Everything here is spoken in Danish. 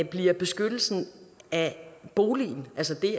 bliver beskyttelsen af boligen altså det